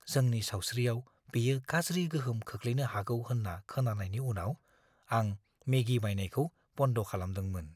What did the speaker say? जोंनि सावस्रियाव बेयो गाज्रि गोहोम खोख्लैनो हागौ होन्ना खोनानायनि उनाव आं मेगी बायनायखौ बन्द खालामदोंमोन।